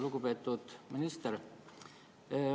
Lugupeetud minister!